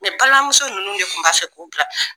balimamuso nunnu de kun b'a fɛ k'u bila